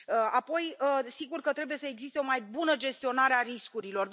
Apoi, sigur că trebuie să existe o mai bună gestionare a riscurilor.